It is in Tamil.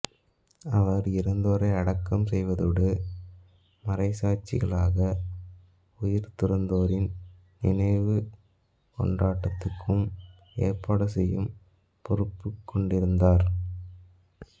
அவர் இறந்தோரை அடக்கம் செய்வதோடு மறைச்சாட்சிகளாக உயிர்துறந்தோரின் நினைவுக் கொண்டாட்டத்துக்கும் ஏற்பாடு செய்யும் பொறுப்புக் கொண்டிருந்தார்